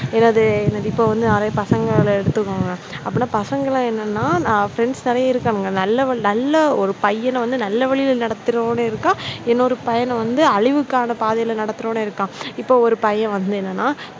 என்னது இப்போ வந்து நிறைய பசங்கள எடுத்துக்குங்க அப்படின்னா பசங்களா என்னன்னா friends நிறைய இருக்காங்க. நல்ல நல்ல ஒரு பையனும் நல்ல வழியில் நடத்துறவனும் இருக்கா இன்னொரு பையனை வந்து அழிவுக்கான பாதையில நடத்துறவனும் இருக்கா, இப்போ ஒரு பையன் வந்து என்னன்னா